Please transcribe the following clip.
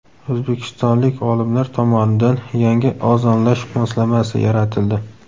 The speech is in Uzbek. O‘zbekistonlik olimlar tomonidan yangi ozonlash moslamasi yaratildi.